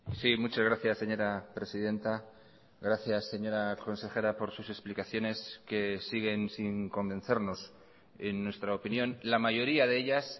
sí muchas gracias señora presidenta gracias señora consejera por sus explicaciones que siguen sin convencernos en nuestra opinión la mayoría de ellas